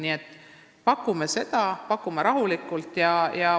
Nii et pakume rahulikult seda programmi.